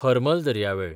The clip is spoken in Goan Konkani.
हरमल दर्यावेळ